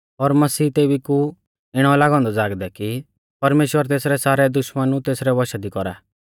और मसीह तेबी कु इणौ लागौ औन्दौ ज़ागदै कि परमेश्‍वर तेसरै सारै दुश्मनु तेसरै वशा दी कौरा